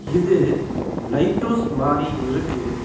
இது lighthouse மாரி இருக்கு.